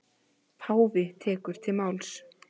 Páfi tekur til máls.